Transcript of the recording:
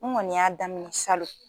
N Kɔni y'a daminɛ salon